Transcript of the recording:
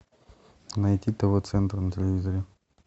найти тв центр на телевизоре